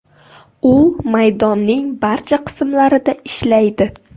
U maydonning barcha qismlarida ishlaydi.